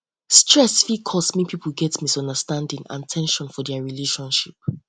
stress fit cause mek um pipo get um misunderstanding um and ten sion for dia relationship